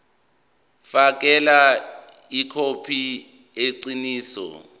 fakela ikhophi eqinisekisiwe